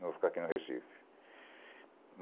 Não vou ficar aqui no Recife.